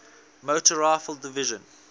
motor rifle division